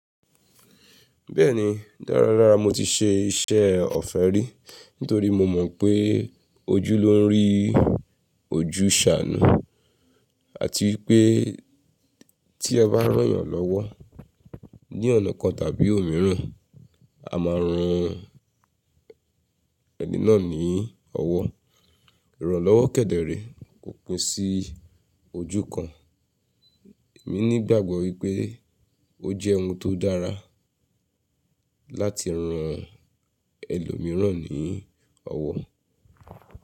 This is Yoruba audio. Bẹ́ẹ̀ni, dáradára mo ti ṣe iṣẹ́ ọ̀fẹ́ rí, nítorí mo mọ̀ pé ojú ló ń rí ojú ṣàánù àti pé tí ẹ bá rán'yàn lọ́wọ́ ní ọ̀nà kan tàbí òmíràn, a máa ran ẹni náà ní ọwọ́. Ìrànlọ́wọ́ kẹ̀dẹ̀ rèé, kò pin sí ojú kan. Èmi ní ìgbàgbọ́ wípé ó jẹ́ ohun tó dára láti ran ẹlòmìíràn ní ọwọ́.